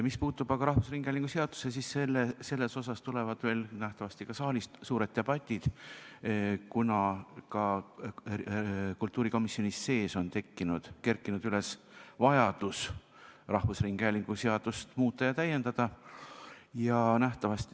Mis puudutab aga rahvusringhäälingu seadust, siis sellel teemal tulevad veel nähtavasti ka saalis suured debatid, kuna ka kultuurikomisjonis on kerkinud üles vajadus rahvusringhäälingu seadust muuta ja täiendada.